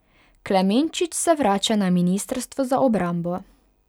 Klemenčič se vrača na ministrstvo za obrambo.